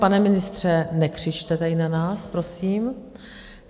Pane ministře, nekřičte tady na nás, prosím.